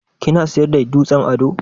Kina siyar da dutsen ado?